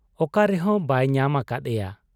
ᱚᱠᱟ ᱨᱮᱦᱚᱸ ᱵᱟᱭ ᱧᱟᱢ ᱟᱠᱟᱫ ᱮᱭᱟ ᱾